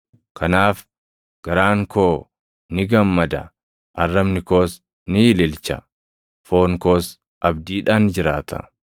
Kanaaf garaan koo ni gammada; arrabni koos ni ililcha; foon koos abdiidhaan jiraata.